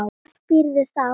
Hvar býrðu þá?